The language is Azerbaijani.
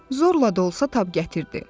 Zorla da olsa tab gətirdi.